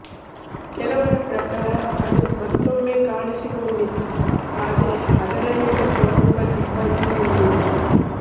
ಕೆಲವರ ಪ್ರಕಾರ ಅದು ಮತ್ತೊಮ್ಮೆ ಕಾಣಿಸಿಕೊಂಡಿತು ಆದರೆ ಅದರಲ್ಲಿದ್ದ ಪ್ರಮುಖ ಸಿಬ್ಬಂದಿಯಿರಲಿಲ್ಲ